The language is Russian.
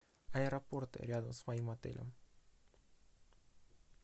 аэропорты рядом с моим отелем